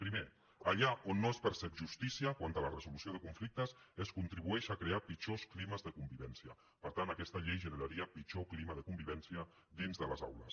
primer allà on no es percep justícia quant a la resolució de conflictes es contribueix a crear pitjors climes de convivència per tant aquesta llei generaria pitjor clima de convivència dins de les aules